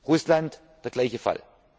Fall. Russland der gleiche